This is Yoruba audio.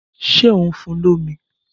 Ṣé ò ń fun lómi?